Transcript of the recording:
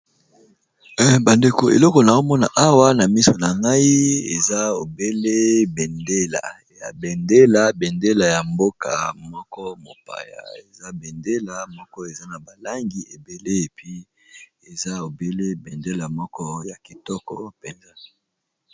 bandeko eloko na omona awa na miso na nai ezabeleya bendela bendela ya mboka moko mopaya eza bendela moko eza na balangi ebele epi eza obele bendela moko ya kitoko mpenza